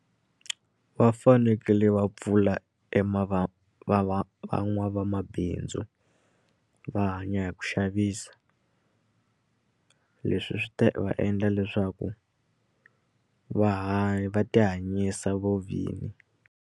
Va fanekele va pfula e van'wavamabindzu va hanya hi ku xavisa leswi swi ta va endla leswaku va va ti hanyisa vovini.